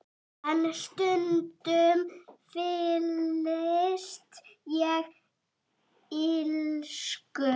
En stundum fyllist ég illsku.